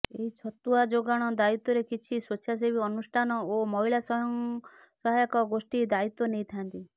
ଏହି ଛତୁଆ ଯୋଗାଣ ଦାଇତ୍ୱରେ କିଛି ସ୍ୱେଚ୍ଛାସେବି ଅନୁଷ୍ଟାନ ଓ ମହିଳାସ୍ୱୟଂସହାୟକ ଗୋଷ୍ଟି ଦାଇତ୍ୱ ନେଇଥାନ୍ତି